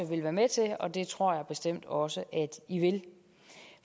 vil være med til og det tror jeg bestemt også at i vil